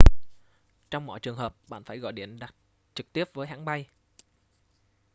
trong mọi trường hợp bạn phải gọi điện đặt trực tiếp với hãng bay